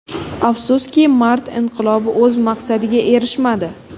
Afsuski, mart inqilobi o‘z maqsadiga erishmadi.